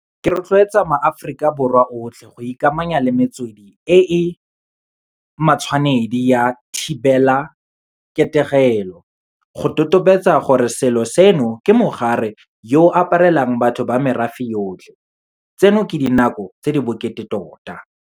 Ke rotloetsa maAforika Borwa otlhe go ikamanya le metswedi e e matshwanedi ya thibelaketegelo. Go totobetse gore selo seno ke mogare yo o aparelang batho ba merafe yotlhe. Tseno ke dinako tse di bokete tota.